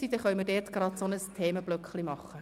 Daraus können wir einen Themenblock machen.